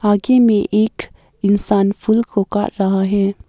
आगे में एक इंसान फूल को काट रहा है।